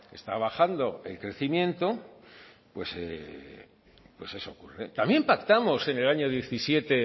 está bajando el crecimiento pues eso ocurre también pactamos en el año diecisiete